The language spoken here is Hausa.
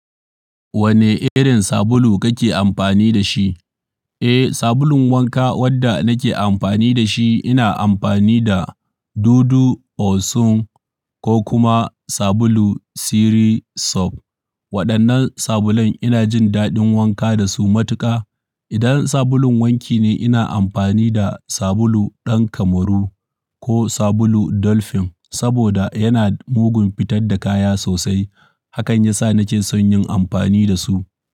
Wane irin sabulu kake amfani da shi? Eh, sabulun wanka wadda nake amfani da shi ina amfani da Dudu Osun ko kuma sabulu Siri Soap. Waɗannan sabulan ina jin daɗin wanka da su matuƙa. Idan sabulun wanki ne, ina amfani da sabulu ɗan Kamaru ko sabulu Dolphin saboda yana mugun fitar da kaya sosai. Hakan yasa nake son yin amfani da su.